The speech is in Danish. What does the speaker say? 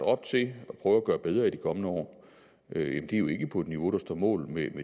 op til at prøve at gøre bedre i de kommende år er jo ikke på et niveau der står mål med